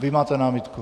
Vy máte námitku.